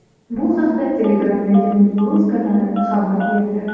Bu haqda Telegram’dagi Muxbir.uz kanali xabar berdi .